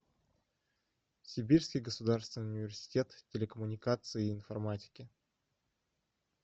сибирский государственный университет телекоммуникаций и информатики